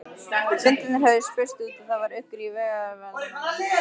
Fundirnir höfðu spurst út og það var uggur í vegagerðarmönnum.